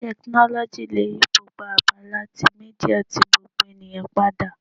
Tekinoloji le yi gbogbo abala ti media ti gbogbo eniyan pada